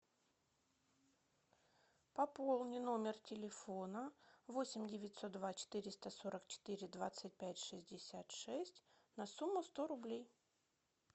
пополни номер телефона восемь девятьсот два четыреста сорок четыре двадцать пять шестьдесят шесть на сумму сто рублей